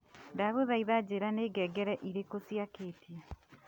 ndaguthaitha njira ni ngengere iriku ciaketio